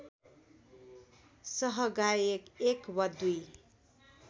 सहगायक एक वा दुई